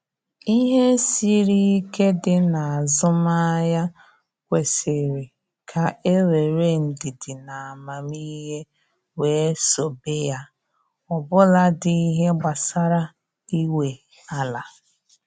Ihe siri ike dị n'azụmahia kwesịrị ka e were ndidi na amamihe wee sobe ya, ọbụladị ihe gbasara inwe ala